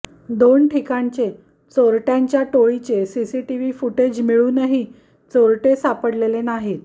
दोन ठिकाणच्या चोरटय़ांच्या टोळीचे सीसीटीव्ही फुटेज मिळूनही चोरटे सापडलेले नाहीत